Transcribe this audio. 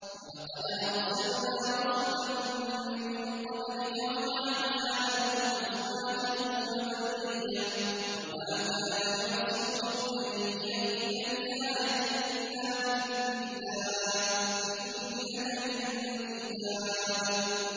وَلَقَدْ أَرْسَلْنَا رُسُلًا مِّن قَبْلِكَ وَجَعَلْنَا لَهُمْ أَزْوَاجًا وَذُرِّيَّةً ۚ وَمَا كَانَ لِرَسُولٍ أَن يَأْتِيَ بِآيَةٍ إِلَّا بِإِذْنِ اللَّهِ ۗ لِكُلِّ أَجَلٍ كِتَابٌ